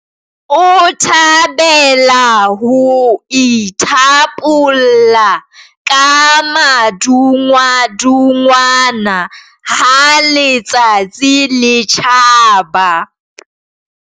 O thabela ho ithapolla ka madungwadungwana ha letsatsi le tjhaba.